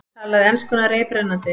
Talaði enskuna reiprennandi.